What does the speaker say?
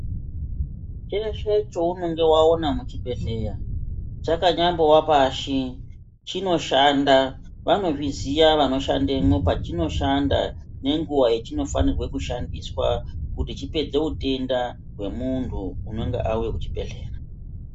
Cheshe chaunenge waona muchibhedhlera chakanyambowa pashi chinoshanda vanozviziya vanoshandemwo pachinoshanda nenguwa yachinofanirwe kushandiswa kuti chopedze utenda hwemuntu unonga auye kuchibhedhlera.